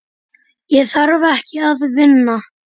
Ég þarf ekki að vinna.